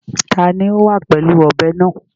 Ta ni ó wà pẹ̀lú ọ̀bẹ náà?